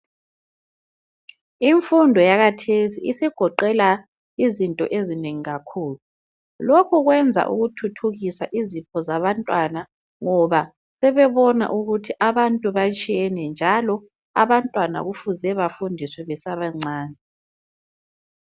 Imfundo yakathesi isigoqela izinto ezinengi kakhulu lokhu kwenza ukuthuthukisa izipho zabantwana ngoba sebebona ukuthi abantu batshiyene njalo abantwana kufuze bafundiswe besabancane.